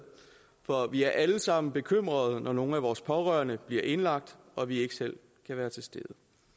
for vi er alle sammen bekymrede når nogle af vores pårørende bliver indlagt og vi ikke selv kan være til stede